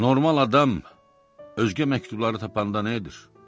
Normal adam özgə məktubları tapanda nə edir?